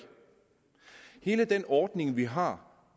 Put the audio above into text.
hele den ordning vi har